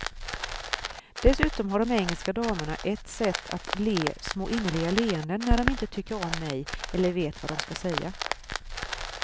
Dessutom har de engelska damerna ett sätt att le små innerliga leenden när de inte tycker om mig eller vet vad de ska säga.